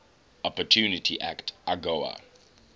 opportunity act agoa